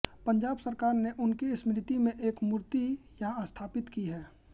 पंजाब सरकार ने उनकी स्मृति में एक मूर्ती यहाँ स्थापित की है